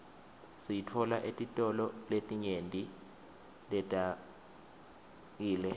siyitfola etitolo letinyenti leteawkile